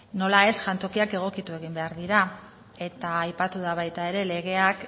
nola ez jantokiak egokitu egin behar dira eta aipatu da baita ere legeak